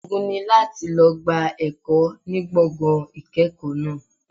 Ogun ni láti lọ gba ẹ̀kọ́ ní gbọ̀ngàn ìkẹ́kọ̀ọ́ náà.